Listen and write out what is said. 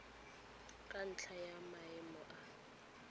ka ntlha ya maemo a